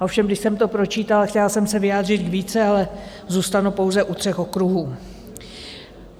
Ovšem když jsem to pročítala, chtěla jsem se vyjádřit k více, ale zůstanu pouze u třech okruhů.